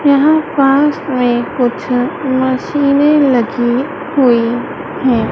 यहां पास में कुछ मशीनें लगी हुई है।